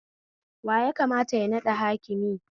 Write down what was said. Wa yakamata ya naɗa hakimi?